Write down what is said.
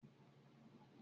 Ṣé òjò ti ń rọ̀?